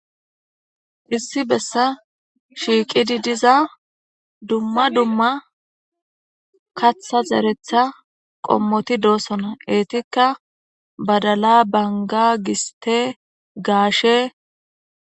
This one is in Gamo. issi bessa shiiqidi diza dumma dumma katha zeretha qommoti doossona eetikka badala banga giste gaashe